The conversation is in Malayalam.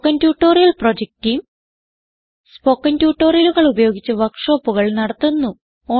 spoken tutorial project team spoken ട്യൂട്ടോറിയലുകൾ ഉപയോഗിച്ച് വർക്ക് ഷോപ്പുകൾ നടത്തുന്നു